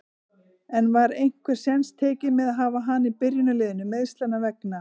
En var einhver séns tekinn með að hafa hana í byrjunarliðinu, meiðslanna vegna?